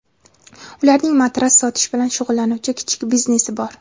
Ularning matras sotish bilan shug‘ullanuvchi kichik biznesi bor.